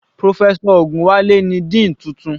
Professor Ogunwale ni dean tuntun.